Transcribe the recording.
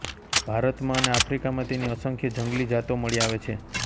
ભારતમાં અને આફ્રિકામાં તેની અસંખ્ય જંગલી જાતો મળી આવે છે